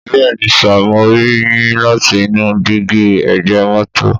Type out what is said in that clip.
Bẹ́ẹ̀ni sìr, mọ ri yín láti inú dígí ẹgbẹ mọ́tọ̀